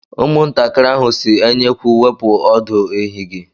Ụmụntakịrị ahụ si enyekwu wepụ ọdụ ehi gi